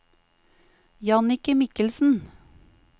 Jannicke Mikkelsen